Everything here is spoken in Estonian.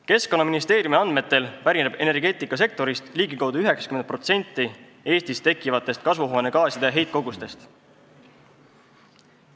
Keskkonnaministeeriumi andmetel pärineb energeetikasektorist ligikaudu 90% Eestis tekkivatest kasvuhoonegaaside heitkogustest.